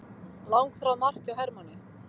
Langþráð mark hjá Hermanni